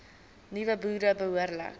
nuwe boere behoorlik